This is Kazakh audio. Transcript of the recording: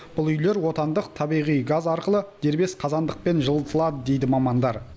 бұл үйлер отандық табиғи газ арқылы дербес қазандықпен жылытылады дейді мамандар